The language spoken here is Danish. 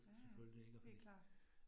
Ja ja, helt klart